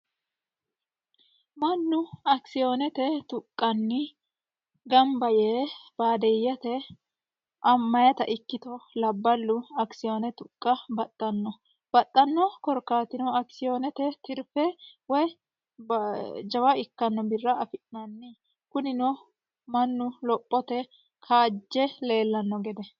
mannu akisiyoonete tuqqanni gamba yee baadeyyete mayeta ikkito labballu akisiyoone tuqqa baxxanno baxxanno korkaatino akisiyoonete tirfe woy jawa ikkanno birra afi'nanni kunino mannu lophote kaajje leellanno gede.